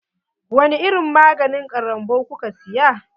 Wani irin maganin ƙarambau kuka siya.